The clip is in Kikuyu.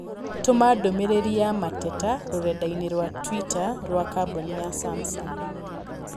Tũma ndũmĩrĩri ya mateta rũrenda-inī rũa tũita kũrĩ kambuni ya samsung